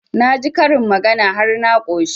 Na ji karin magana har na ƙoshi